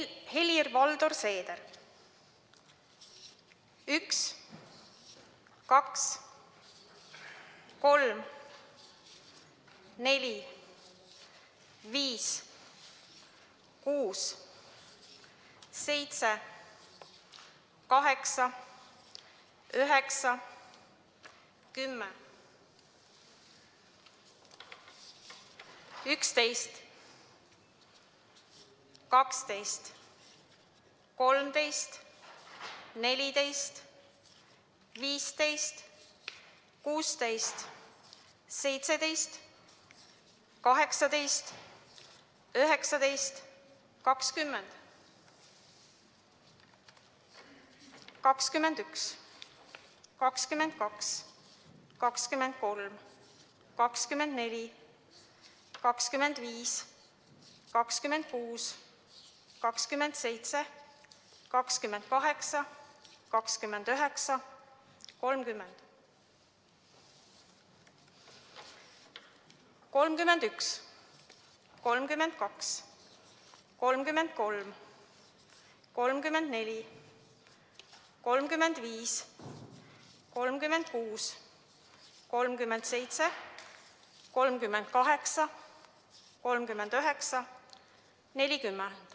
Helir-Valdor Seeder: 1, 2, 3, 4, 5, 6, 7, 8, 9, 10, 11, 12, 13, 14, 15, 16, 17, 18, 19, 20, 21, 22, 23, 24, 25, 26, 27, 28, 29, 30, 31, 32, 33, 34, 35, 36, 37, 38, 39, 40.